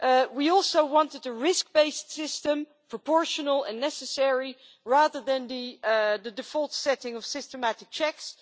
We also wanted a risk based system, proportional and necessary, rather than the default setting of systematic checks.